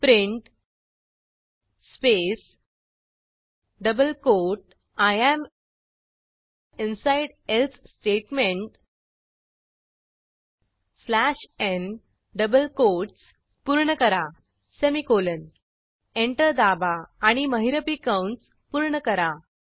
print space double quote I am inside else statement slash n double quotes पूर्ण करा semicolon enter दाबा आणि महिरपी कंस पूर्ण करा